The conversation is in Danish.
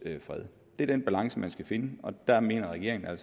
fred det er den balance man skal finde og der mener regeringen at